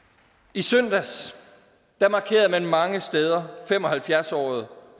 i søndags markerede man mange steder fem og halvfjerds året